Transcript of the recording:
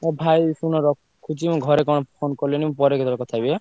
ଏ ଭାଇ ଶୁଣ ରଖୁଛି ମୁଁ ଘରେ କଣ phone କଲେଣି ମୁଁ ପରେ କେତବେଳେ କଥା ହେବି ଏଁ?